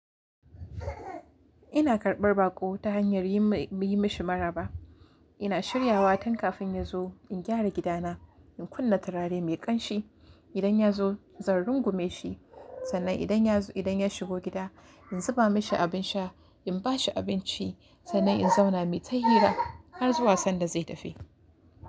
Ina karɓar baƙo ta hanyar yi mashi maraba. Ina shiryawa tun kafin ya zo, in gyara gidana, in kunna turare mai ƙanshi. Idan ya zo zan rungume shi, sannan idan ya shigo gida in zuba mashi abin sha, in ba shi abinci, sannan in zauna mui ta hira har zuwa sanda zai tafi.